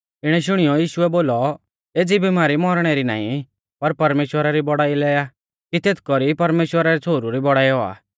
इणै शुणियौ यीशुऐ बोलौ एज़ी बिमारी मौरणै री नाईं पर परमेश्‍वरा री बौड़ाई लै आ कि तेथ कौरी परमेश्‍वरा रै छ़ोहरु री बौड़ाई औआ